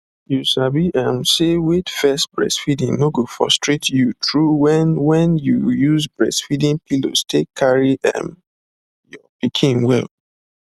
you sabi um say wait first breastfeeding no go frustrate you true when when you use breastfeeding pillows take carry um your pikin well